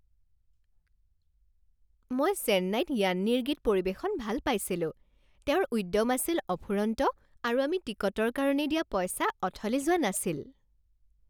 মই চেন্নাইত য়ান্নিৰ গীত পৰিৱেশন ভাল পাইছিলোঁ। তেওঁৰ উদ্যম আছিল অফুৰন্ত আৰু আমি টিকটৰ কাৰণে দিয়া পইচা অথলে যোৱা নাছিল।